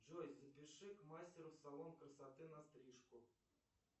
джой запиши к мастеру в салон красоты на стрижку